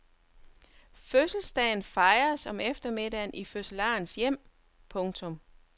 Fødselsdagen fejres om eftermiddagen i fødselarens hjem. punktum